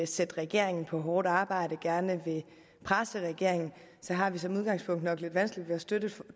sætte regeringen på hårdt arbejde og gerne vil presse regeringen så har vi som udgangspunkt nok lidt vanskeligt ved at støtte et